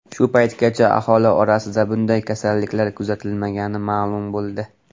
Shu paytgacha aholi orasida bunday kasalliklar kuzatilmagani ma’lum bo‘ldi.